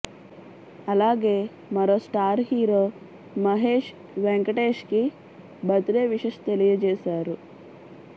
అలాగే మరో star hero Mahesh Venkatesh కి బర్త్ డే విషెష్ తెలియజేశారు